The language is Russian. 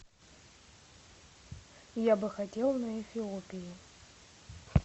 я бы хотел на эфиопии